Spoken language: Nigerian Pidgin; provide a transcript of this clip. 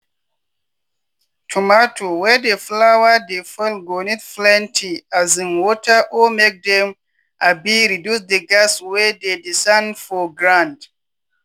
tomato wey di flower dey fall go need plenty um water or make dem um reduce di gas wey dey di sand for grand.